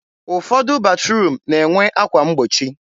ụfọdụ batruum na-enwe akwa mgbochi.